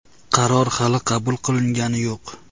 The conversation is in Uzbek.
Qaror hali qabul qilingani yo‘q.